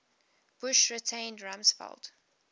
bush retained rumsfeld